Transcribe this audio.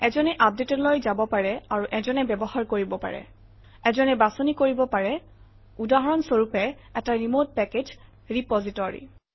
এজনে আপডেটলৈ যাব পাৰে আৰু এজনে ব্যৱহাৰ কৰিব পাৰে - এজনে বাছনি কৰিব পাৰে উদাহৰণ স্বৰূপে এটা ৰিমট পেকেজ ৰেপজিটৰী